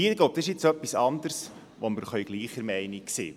Hier geht es um etwas anderes, zu dem wir gleicher Meinung sein können.